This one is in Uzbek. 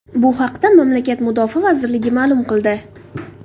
Bu haqda mamlakat mudofaa vazirligi ma’lum qildi .